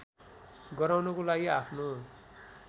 गराउनको लागि आफ्नो